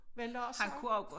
Var Lars så?